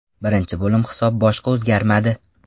Birinchi bo‘lim hisob boshqa o‘zgarmadi.